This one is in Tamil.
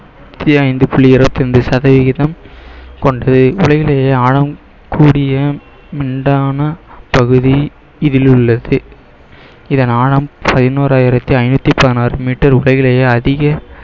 நூத்தி ஐந்து புள்ளி இருபத்தி ஐந்து சதவீதம் கொண்டது உலகிலேயே ஆழம் கூடிய மிண்டான பகுதி இதில் உள்ளது இதன் ஆழம் பதினோறாயிரத்தி ஐந்நூத்தி பதினாறு meter உலகிலேயே அதிக